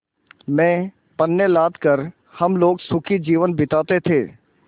में पण्य लाद कर हम लोग सुखी जीवन बिताते थे